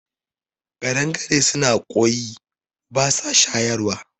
Kaɗangaru suna kwoyi basa shayarwa